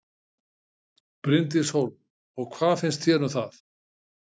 Bryndís Hólm: Og hvað finnst þér um það?